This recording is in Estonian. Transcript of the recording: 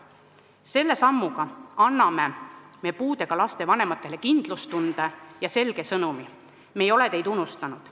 Selle sammuga anname puudega laste vanematele kindlustunde ja selge sõnumi: me ei ole teid unustanud.